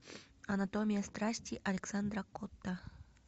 анатомия страсти александра котта